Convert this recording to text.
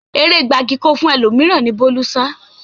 Eré gbagiì-ko-fún-ẹlòmíràn ni Bólú sá